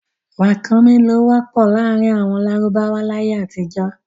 Ràkúnmí ni ó wọ́pọ̀ láàrin àwọn lárúbáwá láyé àtijọ́.